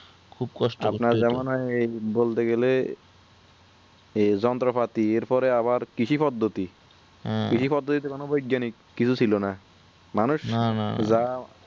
আপনার যেমন বলতে গেলে এই যন্ত্রপাতি এর পরে আবার কৃষি পদ্ধতি হম কৃষি পদ্ধতিতে কোনো বৈজ্ঞানিক কিসু ছিলোনা মানুষ যা